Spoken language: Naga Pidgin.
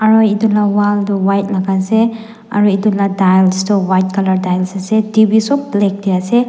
aro edu la wall tu white laka ase aru edu la tiles toh white colour tiles ase T_V sop black tae ase.